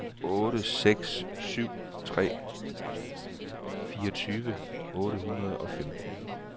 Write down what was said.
otte seks syv tre fireogtyve otte hundrede og femten